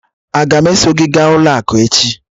Aga m eso gị gaa ụlọ akụ echi?